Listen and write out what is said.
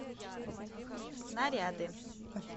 снаряды